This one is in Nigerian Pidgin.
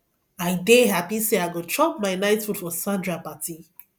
i dey happy say i go chop my night food for sandra party